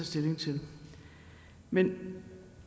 stilling til men